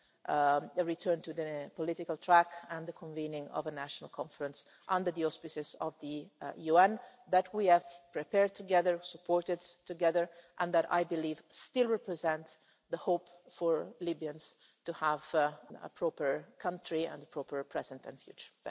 and a return to the political track and the convening of a National Conference under the auspices of the UN that we have prepared together, supported together, and that I believe still represents the hope for Libyans to have a proper country and a proper present and future.